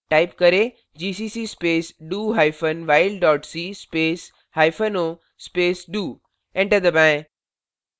type करें gcc space do hyphen while dot c space hyphen o space do enter दबाएं